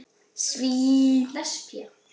Segðu einn